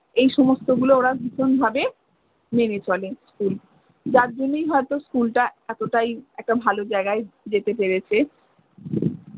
এই সমস্ত গুলো ওরা ভীষণ ভাবে মেনে চলে school যার জন্যেই হয়তো school টা এতটাই একটা ভালো জায়গায় যেতে পেরেছে।